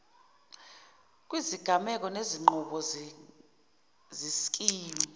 kwizigameko nezinqubo zeskimu